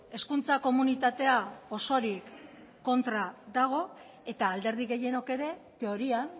hezkuntza komunitatea osorik kontra dago eta alderdi gehienok ere teorian